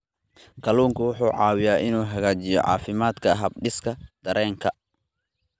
Kalluunku wuxuu caawiyaa inuu hagaajiyo caafimaadka habdhiska dareenka.